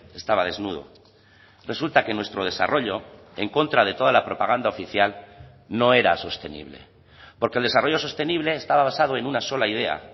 estaba desnudo resulta que nuestro desarrollo en contra de toda la propaganda oficial no era sostenible porque el desarrollo sostenible estaba basado en una sola idea